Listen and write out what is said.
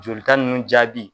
Jolita ninnu jaabi